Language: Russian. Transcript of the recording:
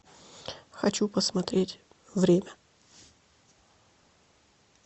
хочу посмотреть время